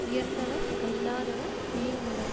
உயர்ந்தவர் கல்லாதவர் இழிந்தவர்